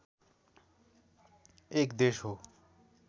एक देश हो